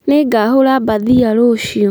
Nĩngahũra mbathia rũciũ